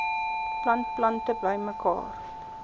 plant plante bymekaar